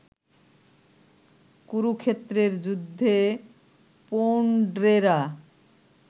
কুরুক্ষেত্রের যুদ্ধে পৌণ্ড্রেরা